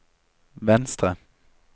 venstre